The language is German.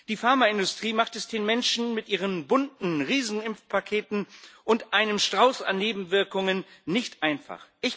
Die Pharmaindustrie macht es den Menschen mit ihren bunten Riesenimpfpaketen und einem Strauß an Nebenwirkungen nicht einfach.